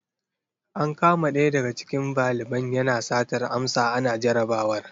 An kama ɗaya daga cikin valiban yana satar amsa ana jarabawar.